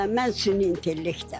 Hə, mən süni intellektdən.